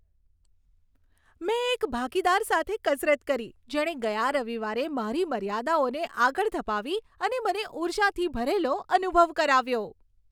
મેં એક ભાગીદાર સાથે કસરત કરી જેણે ગયા રવિવારે મારી મર્યાદાઓને આગળ ધપાવી અને મને ઉર્જાથી ભરેલો અનુભવ કરાવ્યો.